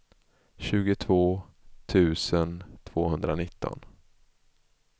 tjugotvå tusen tvåhundranitton